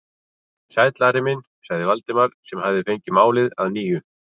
Sæll, Ari minn sagði Valdimar sem fengið hafði málið að nýju.